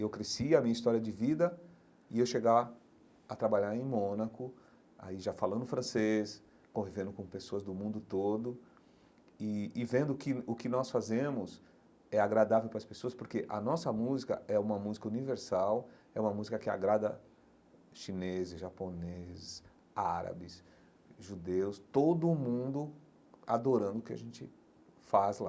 Eu cresci a minha história de vida e eu chegar a trabalhar em Mônaco, aí já falando francês, convivendo com pessoas do mundo todo e e vendo que o que nós fazemos é agradável para as pessoas, porque a nossa música é uma música universal, é uma música que agrada chineses, japoneses, árabes, judeus, todo mundo adorando o que a gente faz lá.